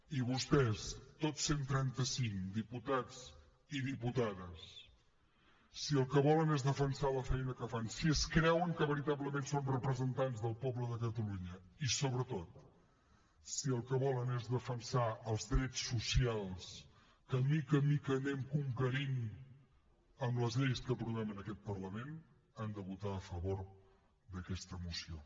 i vostès tots cent i trenta cinc diputats i diputades si el que volen és defensar la feina que fan si es creuen que veritablement són representants del poble de catalunya i sobretot si el que volen és defensar els drets socials que de mica en mica anem conquerint amb les lleis que aprovem en aquest parlament han de votar a favor d’aquesta moció